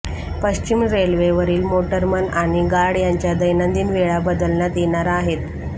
पश्चिम रेल्वेवरील मोटरमन आणि गार्ड यांच्या दैनंदिन वेळा बदलण्यात येणार आहेत